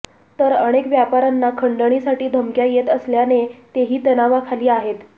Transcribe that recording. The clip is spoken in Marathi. तर अनेक व्यापाऱ्यांना खंडणीसाठी धमक्या येत असल्याने तेही तणावाखाली आहेत